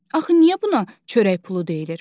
Axı niyə buna çörək pulu deyilir?